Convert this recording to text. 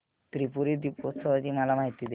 त्रिपुरी दीपोत्सवाची मला माहिती दे